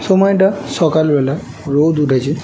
সময়টা সকাল বেলা রোদ উঠেছে।